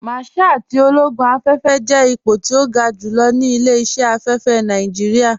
Márṣál tí ológún afẹ́fẹ́ jẹ́ ìpọ̀ tí o gá júlọ̀ ní ilẹ̀-iṣẹ̀ afẹ́fẹ́ Nàìjíríà.